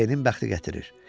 B-nin bəxti gətirir.